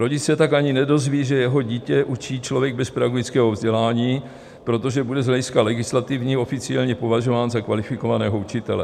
Rodič se tak ani nedozví, že jeho dítě učí člověk bez pedagogického vzdělání, protože bude z hlediska legislativního oficiálně považován za kvalifikovaného učitele.